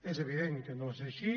és evident que no és així